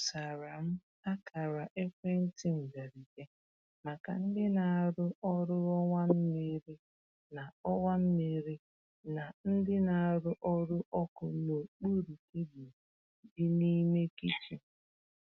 E dosara m akara ekwentị mberede maka ndị na-arụ ọrụ ọwa mmiri na ọwa mmiri na ndị na-arụ ọrụ ọkụ n’okpuru tebụl di n'ime kichin.